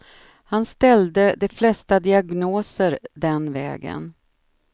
Han ställde de flesta diagnoser den vägen.